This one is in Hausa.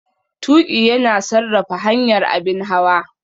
Tuƙi yana sarrafa hanyar abin hawa.